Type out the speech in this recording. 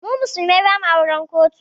Mu musulmai ba ma auren kotu